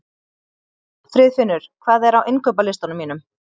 Friðfinnur, hvað er á innkaupalistanum mínum?